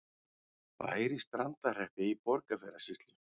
Bær í Strandarhreppi í Borgarfjarðarsýslu.